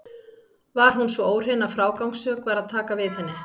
Var hún svo óhrein að frágangssök var að taka við henni.